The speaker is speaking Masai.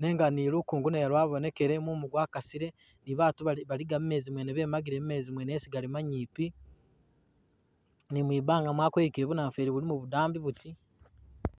nenga ni lukongo nalwo lwabonekele mumu gwakasile ni batu bali baliga mumeezi bemagile mumeezi mwene yesi gali manyipi ni mwi banga bu namufweli bulimo budambi buti.